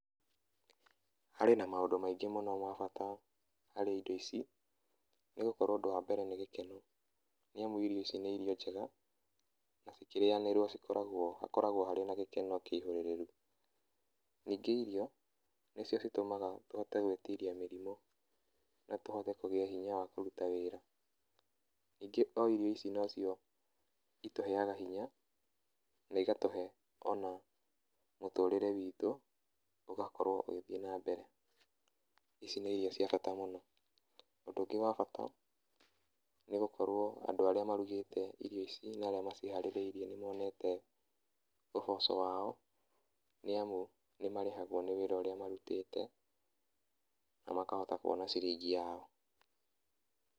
Harĩ na maũndũ maingĩ mũno ma bata harĩ indo ici, nĩgũkorwo ũndũ wa mbere nĩ gĩkeno, nĩamu irio ici nĩ irio njega na cikĩrĩyanĩrwo cikoragwo hakoragwo harĩ gĩkeno kĩihũrĩrĩru, Ningĩ irio, nĩcio citũmaga tũhote gwĩtiria mĩrimũ na tũhote kũgĩa hinya wa kũruta wĩra. Ningĩ o irio ici nocio itũheaga hinya na igatũhe o na mũtũtĩre witũ ũgakorwo ũgĩthiĩ na mbere. Ici nĩ irio cia bata mũno. Ũndũ ũngĩ wa bata, nĩgũkorwo andũ arĩa marugĩte irio ici na arĩa maciharĩrĩirie nĩmonete ũboco wao, nĩamu nĩmarĩhagwo nĩ wĩra ũrĩa marutĩte, na makahota kuona ciringi yao.